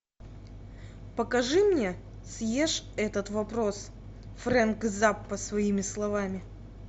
покажи мне съешь этот вопрос фрэнк заппа своими словами